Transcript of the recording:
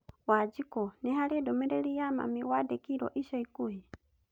Wanjĩkũ, nĩ harĩ ndũmĩrĩri ya mami wandĩkĩirũo ica ikuhĩ ?